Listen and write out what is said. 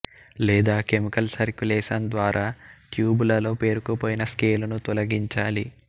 లేదా chemical circulation ద్వారా ట్యూబులలో పేరుకు పోయిన స్కేలును తొలగించాలి